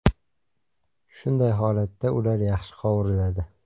Shunday holatda ular yaxshi qovuriladi.